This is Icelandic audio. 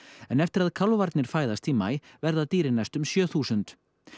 en eftir að kálfarnir fæðast í maí verða dýrin næstum sjö þúsund